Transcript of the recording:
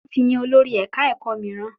Wọ́n ti yan olórí ẹ̀ka ẹ̀kọ́ mííràn.